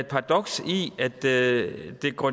paradoks i at det går